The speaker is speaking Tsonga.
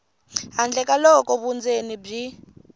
handle ka loko vundzeni byi